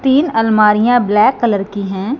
तीन अलमारियां black colour की है।